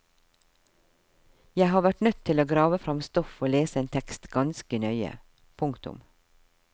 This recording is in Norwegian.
Jeg har vært nødt til å grave fram stoff og lese en tekst ganske nøye. punktum